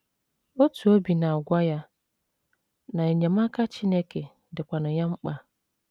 Otu obi na - agwa ya na enyemaka Chineke dịkwanụ ya mkpa.